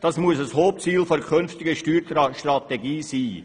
Das muss ein Hauptziel der künftigen Steuerstrategie sein.